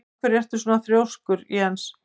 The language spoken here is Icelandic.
Af hverju ertu svona þrjóskur, Jes?